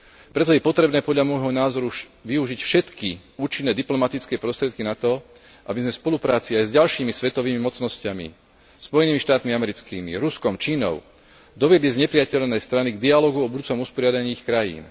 Preto je potrebné podľa môjho názoru využiť všetky účinné diplomatické prostriedky, aby sme v spolupráci aj s ďalšími svetovými mocnosťami, Spojenými štátmi americkými, Ruskom, Čínou, doviedli znepriatelené strany k dialógu o budúcom usporiadaní ich krajín.